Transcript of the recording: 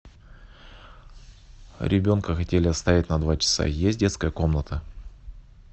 ребенка хотели оставить на два часа есть детская комната